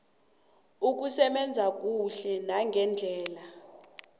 ukusebenza kuhle nangendlela